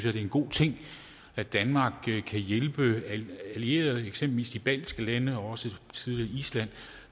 er en god ting at danmark kan hjælpe allierede eksempelvis de baltiske lande og også tidligere island